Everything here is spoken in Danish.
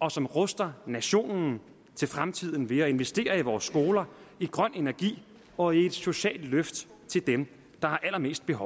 og som ruster nationen til fremtiden ved at investere i vores skoler i grøn energi og i et socialt løft til dem der har allermest behov